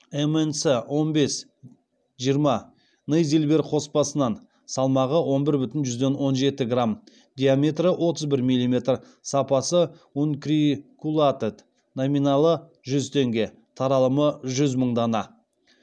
мнц он бес жиырма нейзильбер қоспасынан салмағы он бір бүтін жүзден он жеті грамм диаметрі отыз бір миллиметр сапасы ункрикулатэд номиналы жүз теңге таралымы жүз мың дана